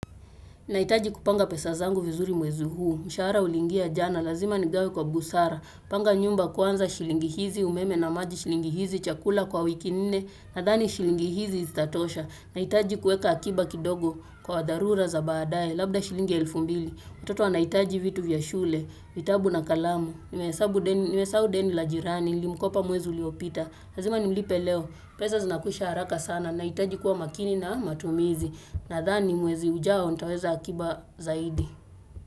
Nahitaji kupanga pesa zangu vizuri mwezi huu, mshahara uliingia jana, lazima nigawe kwa busara, panga nyumba kwanza shilingi hizi, umeme na maji shilingi hizi, chakula kwa wiki nne, nadhani shilingi hizi zitatosha, nahitaji kuweka akiba kidogo kwa dharura za baadaye, labda shilingi elfu mbili, watoto wanahitaji vitu vya shule, vitabu na kalamu, nimesahau deni la jirani, nilimkopa mwezi uliopita, lazima nimlipe leo, pesa zinakwisha haraka sana, nahitaji kuwa makini na matumizi, Nathani mwezi ujao, nitaweza akiba zaidi.